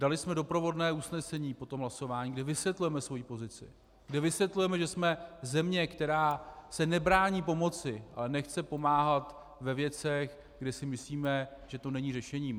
Dali jsme doprovodné usnesení po tom hlasování, kde vysvětlujeme svoji pozici, kde vysvětlujeme, že jsme země, která se nebrání pomoci, ale nechce pomáhat ve věcech, kde si myslíme, že to není řešením.